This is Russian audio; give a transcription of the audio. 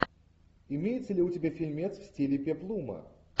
имеется ли у тебя фильмец в стиле пеплума